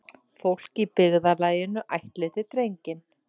Fólk í byggðarlaginu ættleiddi drenginn.